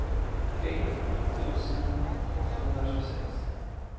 tre tusen åttahundratjugosex